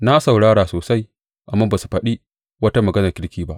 Na saurara sosai, amma ba su faɗi wata maganar kirki ba.